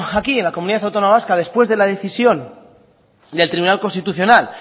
aquí en la comunidad autónoma vasca después de la decisión del tribunal constitucional